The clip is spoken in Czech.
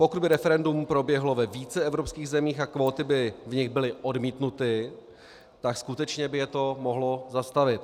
Pokud by referendum proběhlo ve více evropských zemích a kvóty by v nich byly odmítnuty, tak skutečně by je to mohlo zastavit.